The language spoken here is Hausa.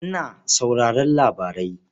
Ina sauraron labarai.